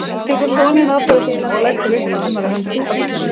Hún tekur soninn af brjóstinu og leggur upp að annarri öxlinni.